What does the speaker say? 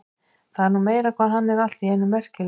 Það er nú meira hvað hann er allt í einu merkilegur.